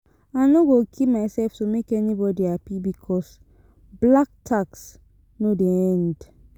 I no go kill myself to make anybodi hapi because black tax no dey end.